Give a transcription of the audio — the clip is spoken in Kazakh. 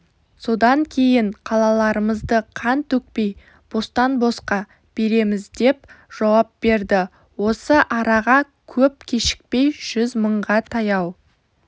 содан кейін қалаларымызды қан төкпей бостан-босқа береміздеп жауап берді осы араға көп кешікпей жүз мыңға таяу